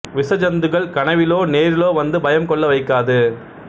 விச ஜந்துக்கள் கனவிலோ நேரிலோ வந்து பயம் கொள்ள வைக்காது